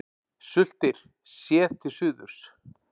Sultir, séð til suðurs.